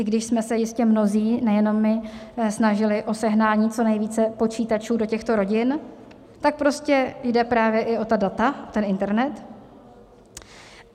I když jsme se jistě mnozí, nejenom my, snažili o sehnání co nejvíce počítačů do těchto rodin, tak prostě jde právě i o ta data, ten internet.